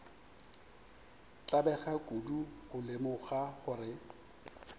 tlabega kudu go lemoga gore